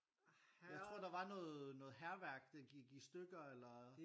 Jeg tror der var noget noget hærværk det gik i stykker eller